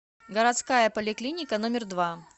городская поликлиника номер два